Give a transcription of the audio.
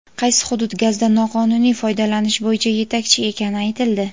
Qaysi hudud gazdan noqonuniy foydalanish bo‘yicha yetakchi ekani aytildi.